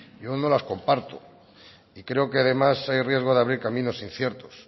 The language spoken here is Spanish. yo no las comparto y creo que además hay riesgo de abrir caminos inciertos